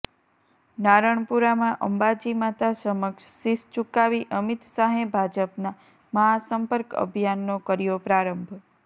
નારણપુરામાં અંબાજી માતા સમક્ષ શિશ ઝુકાવી અમિત શાહે ભાજપના મહાસંપર્ક અભિયાનનો કર્યો પ્રારંભ